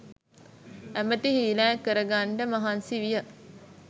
ඇමැති හීලෑ කරගන්නට මහන්සි විය